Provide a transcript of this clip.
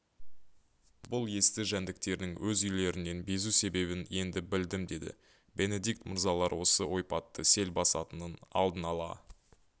бұл есті жәндіктердің өз үйлерінен безу себебін енді білдім деді бенедикт мырзалар осы ойпатты сел басатынын алдын ала